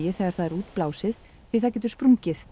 þegar það er útblásið því það getur sprungið